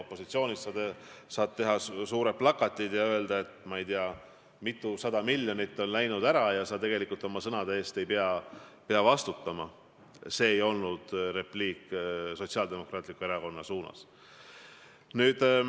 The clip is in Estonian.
Opositsioonis olles sa saad teha suured plakatid ja öelda, et ei tea mitusada miljonit on läinud kaduma, ning sa oma sõnade eest ei pea tegelikult vastutama.